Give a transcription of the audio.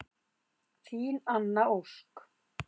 Þín Anna Ósk.